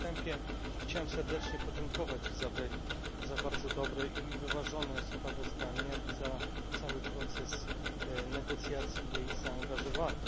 Na wstępie chciałbym serdecznie podziękować Isabelli za bardzo dobre i wyważone sprawozdanie jak i za cały proces negocjacji i jej zaangażowanie.